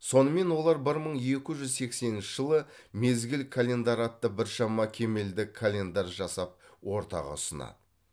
сонымен олар бір мың екі жүз сексенінші жылы мезгіл календары атты біршама кемелді календарь жасап ортаға ұсынады